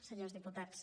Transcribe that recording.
senyors diputats